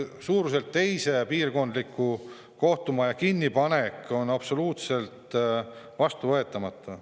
Suuruselt teise piirkonna kohtumaja kinnipanek on absoluutselt vastuvõetamatu.